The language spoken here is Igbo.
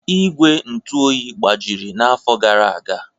Ígwè ntụ oyi gbajiri n'afọ gara aga.